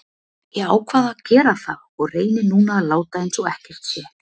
Ég ákvað að gera það og reyni núna að láta eins og ekkert sé.